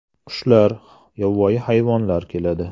Qushlar, yovvoyi hayvonlar keladi.